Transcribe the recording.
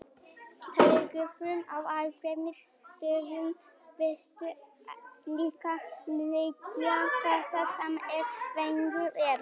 Taugafrumur á ákveðnum stöðum virtust líka liggja þéttar saman en venjulegt er.